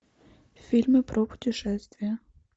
фильмы про путешествия